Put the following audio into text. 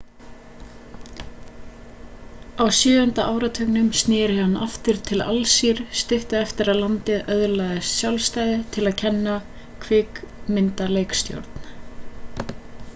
á sjöunda áratugnum snéri hann aftur til alsír stuttu eftir að landið öðlaðist sjálfstæði til að kenna kvikmyndaleikstjórn